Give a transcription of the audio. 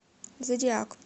зодиак